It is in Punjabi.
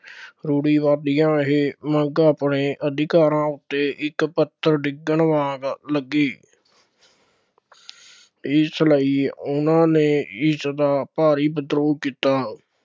ਰੂੜ੍ਹਵਾਦੀਆਂ ਇਹ ਮੰਗ ਆਪਣੇ ਅਧਿਕਾਰਾਂ ਉੱਤੇ ਇੱਕ ਪੱਥਰ ਡਿੱਗਣ ਵਾਂਗ ਲੱਗੀ। ਇਸ ਲਈ ਉਹਨਾ ਨੇ ਇਸਦਾ ਭਾਰੀ ਵਿਦਰੋਹ ਕੀਤਾ।